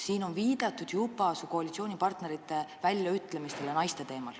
Siin on juba viidatud su koalitsioonipartnerite väljaütlemistele naiste kohta.